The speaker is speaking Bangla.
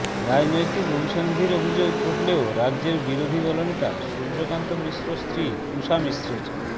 রাজনৈতিক অভিসন্ধির অভিযোগ উঠলেও রাজ্যের বিরোধী দলনেতা সূর্যকান্ত মিশ্রর স্ত্রী ঊষা মিশ্রের